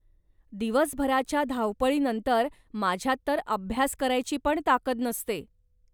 दिवसभराच्या धावपळीनंतर, माझ्यात तर अभ्यास करायचीपण ताकद नसते.